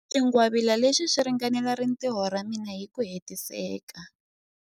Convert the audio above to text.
Xingwavila lexi xi ringanela rintiho ra mina hi ku hetiseka.